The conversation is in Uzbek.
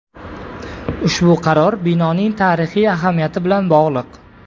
Ushbu qaror binoning tarixiy ahamiyati bilan bog‘liq.